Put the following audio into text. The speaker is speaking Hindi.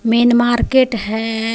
मेईन मार्केट है.